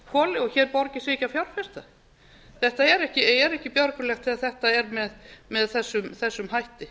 kaldakoli og hér borgi sig ekki að fjárfesta þetta er ekki björgulegt þegar þetta er með þessum hætti